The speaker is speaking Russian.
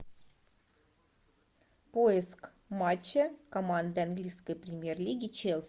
поиск матча команды английской премьер лиги челси